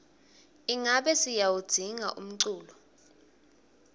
ingabe siyawudzinga umculo